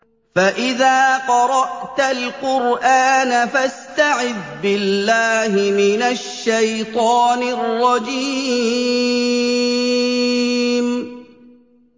فَإِذَا قَرَأْتَ الْقُرْآنَ فَاسْتَعِذْ بِاللَّهِ مِنَ الشَّيْطَانِ الرَّجِيمِ